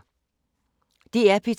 DR P2